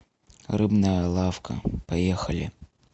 рыбная лавка поехали